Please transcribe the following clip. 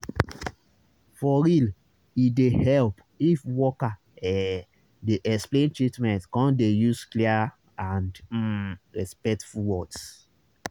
for real e dey help if worker ehh dey explain treatment come dey use clear and um respectful words